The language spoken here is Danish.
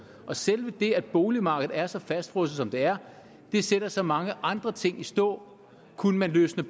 selve det at boligmarkedet er så fastfrosset som det er sætter så mange andre ting i stå kunne man løsne